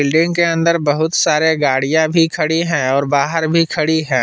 Building के अंदर बहुत सारे गाड़ियां भी खड़ी हैं और बाहर भी खड़ी है।